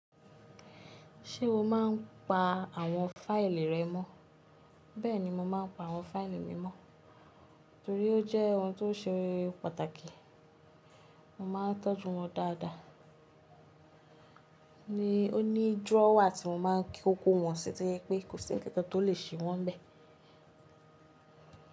Ṣé o máa ń pa àwọn fáìlì rẹ mọ́? Bẹ́ẹ̀ni, mo máa ń pa àwọn fáìlì mi mọ́ torí ó jẹ́ ohun tó ṣe pàtàkì, mo máa ń tọ́jú wọn dáadáa ni oní drawer tí mo máa ń k-- ko wọ̀n sí tó jẹ pé kò sí ńǹkankan tó lè ṣe wọ́n n bẹ̀.